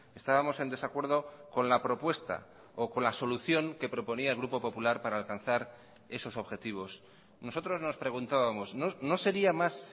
estábamos en desacuerdo con la propuesta o con la solución que proponía el grupo popular para alcanzar esos objetivos nosotros nos preguntábamos no sería más